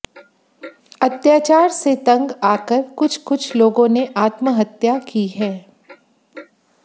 अत्याचार से तंग आकर कुछ कुछ लोगों ने आत्महत्या की है